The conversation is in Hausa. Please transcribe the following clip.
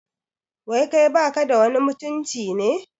Wai kai baka da wani mutunci ne?